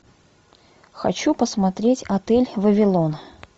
хочу посмотреть отель вавилон